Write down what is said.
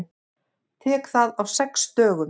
Tek það á sex dögum.